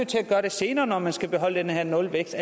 til at gøre det senere når man skal beholde den her nulvækst